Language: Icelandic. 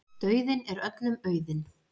Dauðinn er öllum auðinn.